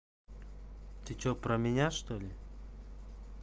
ты что про меня что ли